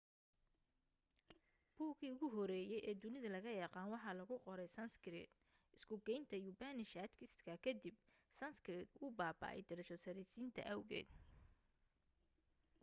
buuggii ugu horreeyay ee dunida laga yaqaan waxaa lagu qoray sanskrit isku-gaynta upanishads-ka kadib sanskrit wuu baaba'ay darajo-saraysiinta awgeed